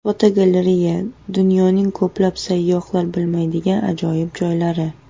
Fotogalereya: Dunyoning ko‘plab sayyohlar bilmaydigan ajoyib joylari.